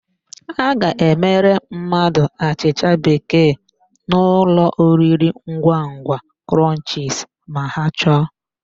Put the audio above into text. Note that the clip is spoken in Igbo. A ga-emere mmadụ achịcha bekee n'ụlọoriringwangwa Krọnchisi ma ha chọọ.